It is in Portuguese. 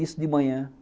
Isso de manhã.